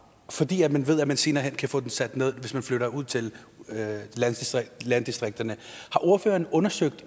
fordi man ved at man senere hen kan få den sat ned hvis man flytter ud til landdistrikterne har ordføreren undersøgt